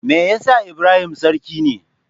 Me yasa Ibrahim sarki ne?